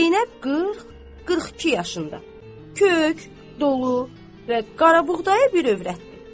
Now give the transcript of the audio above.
Zeynəb 40-42 yaşında, kök, dolu və qaraboğdayı bir övrətdir.